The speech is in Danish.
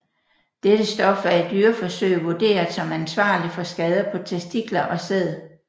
Dette stof er i dyreforsøg vurderet som ansvarlig for skader på testikler og sæd